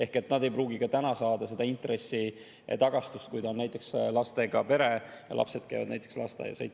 Ehk nad ei pruugi ka täna saada seda tagastust intressidelt, kui see on näiteks lastega pere ja lapsed käivad lasteaias.